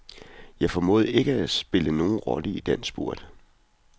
Jeg formåede ikke at spille nogen rolle i den spurt.